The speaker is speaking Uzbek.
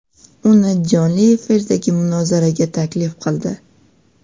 uni jonli efirdagi munozaraga taklif qildi.